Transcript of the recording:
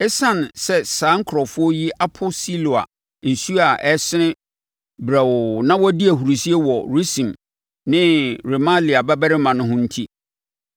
“Esiane sɛ saa nkurɔfoɔ yi apo Siloa nsuo a ɛresene brɛoo na wɔdi ahurisie wɔ Resin ne Remalia babarima no ho enti,